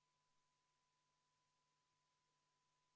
Kohalolijaks pani ennast kirja 56 Riigikogu liiget ja 45 ei pannud end kirja.